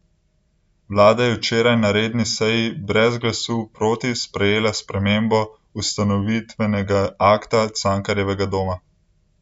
Vlada je včeraj na redni seji brez glasu proti sprejela spremembo ustanovitvenega akta Cankarjevega doma.